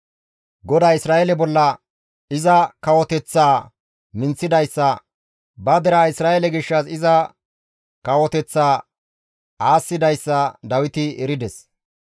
GODAY Isra7eele bolla iza kawoteththaa minththidayssa, ba deraa Isra7eele gishshas iza kawoteththaa aassidayssa Dawiti erides.